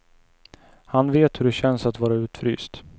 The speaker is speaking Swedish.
Han vet hur det känns att vara utfryst.